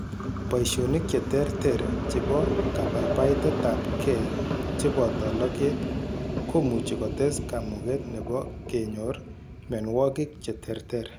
Boishonik cheterter chebo kabaibaitetabge cheboto loget komuchi kotes kamuget nebo kenyor mionwogik cheterter